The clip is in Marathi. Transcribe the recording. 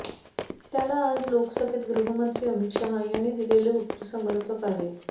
त्याला आज लोकसभेत गृहमंत्री अमित शहा यांनी दिलेले उत्तर समर्पक आहे